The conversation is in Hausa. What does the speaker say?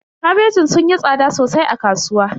Kabejin sun yi tsada sosai a kasuwa.